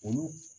Olu